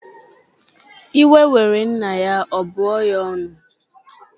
Iwe were nna ya, ọ bụọ ya ọnụ